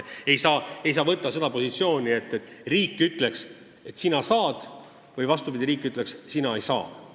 Ei saa võtta positsiooni, et riik ütleb, et sina saad, või vastupidi, riik ütleb, et sina ei saa.